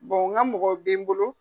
Bɔn n ka mɔgɔ bɛ n bolo.